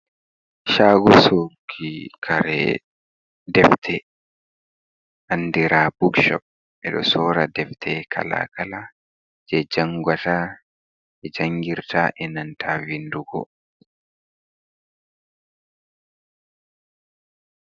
Chago sorki kare defte andira bookshop ɓeɗo sora defte kalakala je ɓe jangata jangirta e nanta vindugo.